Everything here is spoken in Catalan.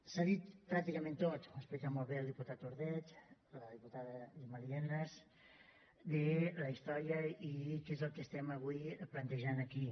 s’ha dit pràcticament tot ho han explicat molt bé el diputat ordeig la diputada gemma lienas de la història i què és el que avui plantegem aquí